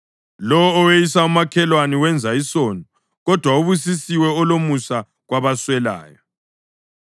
Lowo oweyisa umakhelwane wenza isono, kodwa ubusisiwe olomusa kwabaswelayo.